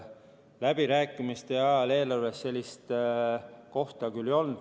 Läbirääkimiste ajal eelarves sellist kohta küll ei olnud.